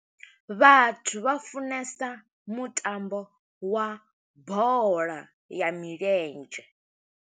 Vhathu vha funesa mutambo, wa bola ya milenzhe.